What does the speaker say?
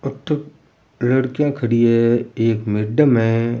अठे लड़कियां खड़ी है एक मेडम है।